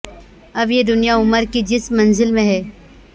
اب یہ دنیا عمر کی جس منزل میں ہے